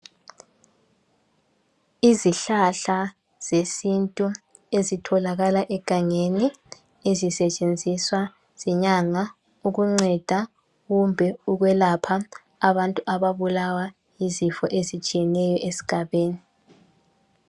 Izihlahla zesintu ezitholakala egangeni, ezisetshenziswa zinyanga ukunceda kumbe ukwelapha abantu ababulawa yizifo ezitshiyeneyo esigabeni